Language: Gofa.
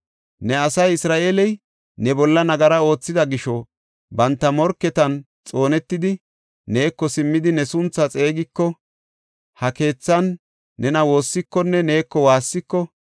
“Ne asay Isra7eeley ne bolla nagara oothida gisho banta morketan xoonetidi, neeko simmidi ne sunthaa xeegiko, ha keethan nena woossikonne neeko waassiko,